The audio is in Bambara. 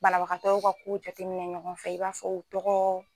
Banabagatɔw ka ko jate minɛn ɲɔgɔn fɛ i b'a fɔ o tɔgɔ.